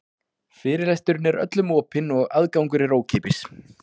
Fyrirlesturinn er öllum opinn og aðgangur er ókeypis.